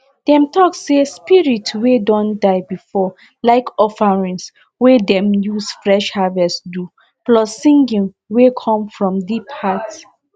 dem talk say spirit way don die before like offerings wey dem use fresh harvest do plus singing wey come from deep heart